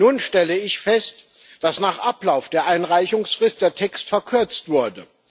Nun stelle ich fest, dass nach Ablauf der Einreichungsfrist der Text verkürzt wurde.